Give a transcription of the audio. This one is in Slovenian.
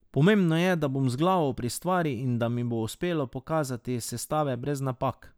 Pomembno je, da bom z glavo pri stvari in da mi bo uspelo pokazati sestave brez napak.